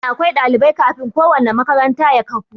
Dole akwai ɗalibai kafin ko wanna makaranta ya kafu